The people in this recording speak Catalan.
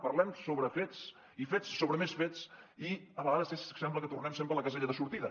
parlem sobre fets i fets sobre més fets i a vegades sembla que tornem sempre a la casella de sortida